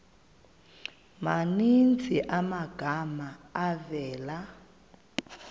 maninzi amagama avela